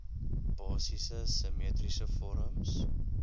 basiese simmetriese vorms